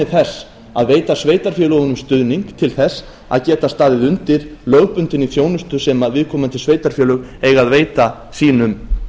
þess að veita sveitarfélögunum stuðning til þess að geta staðið undir lögbundinni þjónustu sem viðkomandi sveitarfélög eiga að veita sínum